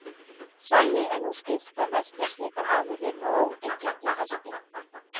Þannig er nú skylt að merkja slíkar afurðir með óyggjandi hætti.